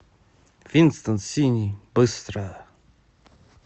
винстон синий быстро